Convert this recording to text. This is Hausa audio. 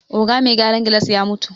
Oga me gyaran gilas ya mutu